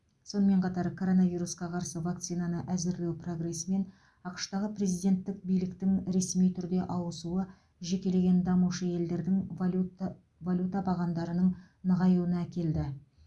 сонымен қатар коронавирусқа қарсы вакцинаны әзірлеу прогресі мен ақш тағы президенттік биліктің ресми түрде ауысуы жекелеген дамушы елдердің валюта валюта бағамдарының нығайыуна әкелді